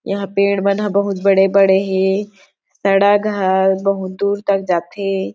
यहाँ पेड़ मन ह बहुत बड़े-बड़े हे सड़ग ह बहुत दूर तक जाथे।